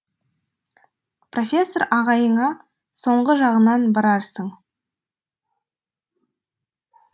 профессор ағайыңа соңғы жағынан барарсың